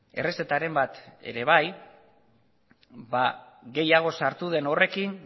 errezetaren bat ere bai gehiago sartu den horrekin